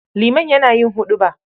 Liman yana yin huɗuba.